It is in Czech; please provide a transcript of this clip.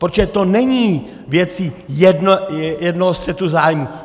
Protože to není věcí jednoho střetu zájmů.